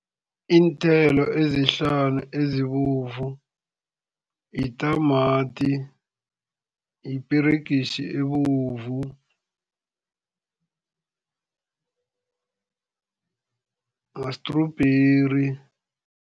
Iinthelo ezihlanu ezibovu yitamati, yiperegisi, ebovu, ma-strawberry.